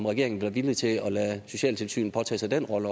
regeringen være villig til også at lade socialtilsynet påtage sig den rolle